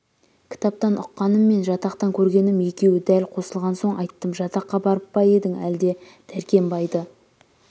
кітаптан ұққаным мен жатақтан көргенім екеуі дәл қосылған соң айттым жатаққа барып па едің әлде дәркембайды